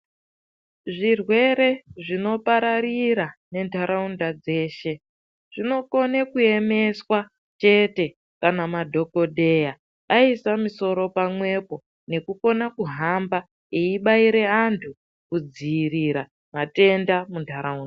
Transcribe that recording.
Zvirwere zvinopararira nenharaunda dzeshe zvinokona kuemeswa chete kana madhokodheya aisa musoro pamwepo nekukona kuhamba eibaira anhu kudziirira matenda muntaraunda.